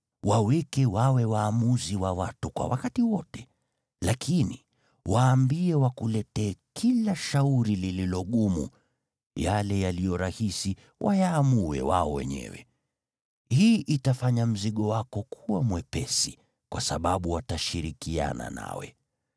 Waweke wawe waamuzi wa watu kwa wakati wote, lakini waambie wakuletee kila shauri lililo gumu; yale yaliyo rahisi wayaamue wao wenyewe. Hii itafanya mzigo wako kuwa mwepesi, kwa sababu watashirikiana nawe.